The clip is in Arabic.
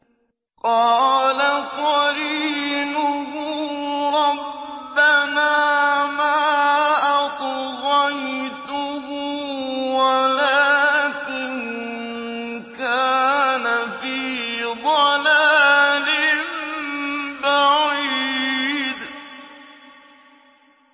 ۞ قَالَ قَرِينُهُ رَبَّنَا مَا أَطْغَيْتُهُ وَلَٰكِن كَانَ فِي ضَلَالٍ بَعِيدٍ